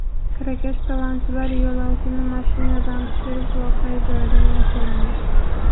Kirakash talonchilar yo‘lovchini mashinadan tushirib, voqea joyidan yashirindi.